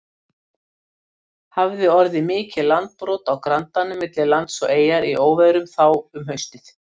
Hafði orðið mikið landbrot á grandanum milli lands og eyjar í óveðrum þá um haustið.